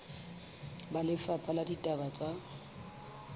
ba lefapha la ditaba tsa